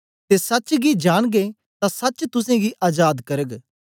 ते सच्च गी जांनगे तां सच्च तुसेंगी अजाद करग